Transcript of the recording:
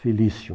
Felício.